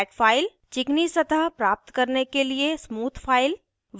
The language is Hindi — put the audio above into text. चिकनी सतह प्राप्त करने के लिए स्मूथ फ़ाइल